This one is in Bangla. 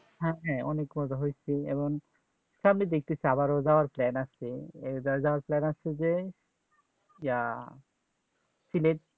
হ্যাঁ হ্যাঁ অনেক মজা হৈছে এবং সামনে দেখতেছি আবারো যাবার plan আছে এই বার যাবে বি plan আছে যে আহ সিলেট